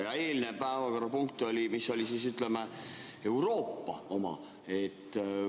Ja eelmine päevakorrapunkt oli, ütleme, Euroopa oma.